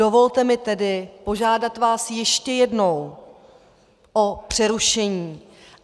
Dovolte mi tedy požádat vás ještě jednou o přerušení.